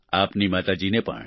આપના માતા જી ને પણ